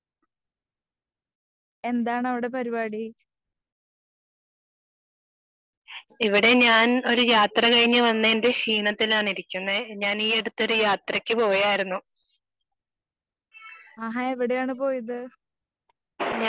എന്താണ് അവിടെ പരിപാടി ആഹാ എവിടെ ആണ് പോയത്?